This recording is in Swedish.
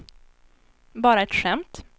bara ett skämt